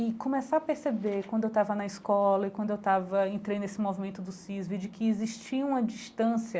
E começar a perceber quando eu estava na escola e quando eu estava entrei nesse movimento do CISV, de que existia uma distância